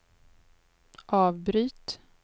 avbryt